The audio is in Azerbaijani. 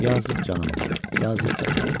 Yazıq canım, yazıq canım.